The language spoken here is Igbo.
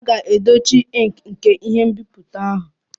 A ga-edochi ink nke ihe nbipute ahụ.